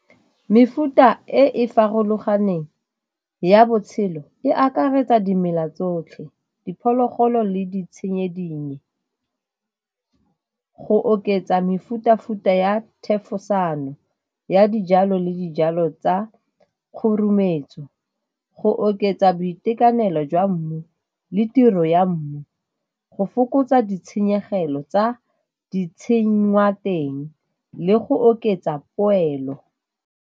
Mefuta e e farologaneng ya botshelo e akaretsa dimela tsotlhe, diphologolo le di tshenyedingwe. Go oketsa mefuta-futa ya thefosano ya dijalo le dijalo tsa , go oketsa boitekanelo jwa mmu le tiro ya mmu, go fokotsa ditshenyegelo tsa ditshenngwa teng le go oketsa poelo.